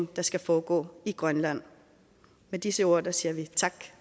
der skal foregå i grønland med disse ord siger vi tak